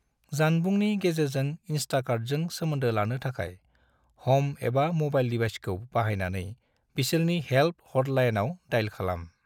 जानबुंनि गेजेरजों इंस्टाकार्टजों सोमोन्दो लानो थाखाय , हम एबा मोबाइल डिवाइसखौ बाहायनानै बिसोरनि हेल्प हटलाइनाव डायल खालाम।